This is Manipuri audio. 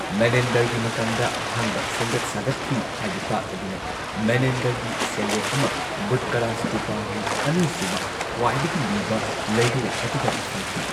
ꯃꯦꯅꯦꯟꯗꯔꯒꯤ ꯃꯇꯝꯗ ꯑꯍꯥꯟꯕ ꯁꯦꯝꯒꯠ ꯁꯥꯒꯠꯈꯤ ꯍꯥꯏꯕ ꯇꯥꯛꯂꯗꯨꯅ ꯃꯦꯅꯦꯟꯗꯔ ꯒꯤ ꯁꯦꯜꯌꯦꯛ ꯑꯃ ꯕꯨꯠꯀꯔꯥ ꯁ꯭ꯇꯨꯄꯥꯒꯤ ꯑꯅꯤꯁꯨꯕ ꯈ꯭ꯋꯥꯏꯗꯒꯤ ꯂꯤꯕ ꯂꯩꯔꯣꯜ ꯑꯗꯨꯗ ꯐꯪꯈꯤ꯫